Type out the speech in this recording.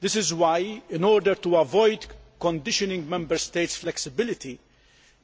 That is why, in order to avoid restricting Member States' flexibility,